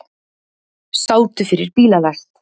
Sátu fyrir bílalest